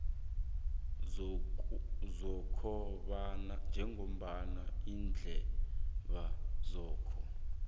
sokobana iindaba zakho